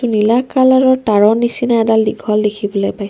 নীলা কালাৰৰ তাঁৰৰ নিচিনা এডাল দীঘল দেখিবলৈ পাইছোঁ।